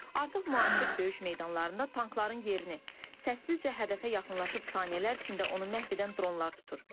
Artıq müasir döyüş meydanlarında tankların yerini səssizcə hədəfə yaxınlaşıb saniyələr üçün də onu məhv edən dronlar tutur.